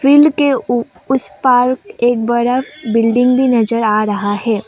Field के उसे पार एक बड़ा बिल्डिंग भी नजर आ रहा है।